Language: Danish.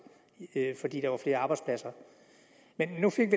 fordi der var flere arbejdspladser men nu fik